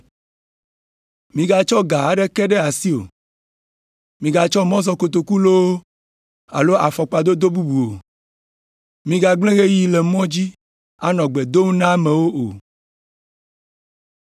Migatsɔ ga aɖeke ɖe asi o, migatsɔ mɔzɔkotoku loo alo afɔkpa dodo bubu o. Migagblẽ ɣeyiɣi le mɔ dzi anɔ gbe dom na amewo o!